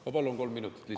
Ma palun kolm minutit lisaks.